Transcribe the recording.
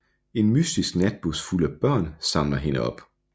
En mystisk natbus fuld af børn samler hende op